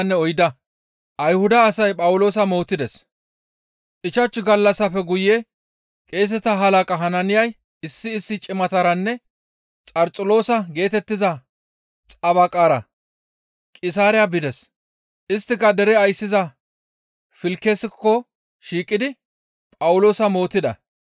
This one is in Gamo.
Ichchashu gallassafe guye qeeseta halaqa Hanaaniyay issi issi cimataranne Xarxuloosa geetettiza xabaqaara Qisaariya bides; isttika dere ayssiza Filkisekko shiiqidi Phawuloosa mootida.